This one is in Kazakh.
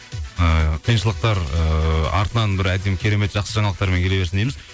ы қиыншылықтар ыыы артынан бір әдемі керемет жақсы жаңалықтарымен келе берсін дейміз